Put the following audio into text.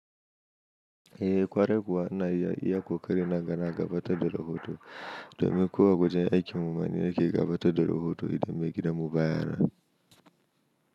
Eh kwarai kuwa ana iya iya ƙoƙari na ga na gabatar da rahoto domin kawai wajen aikin mu ma ni nake gabatar da rahoto idan mai gidan mu ba ya nan.